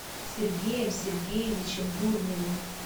сергеем сергеевичем дурневым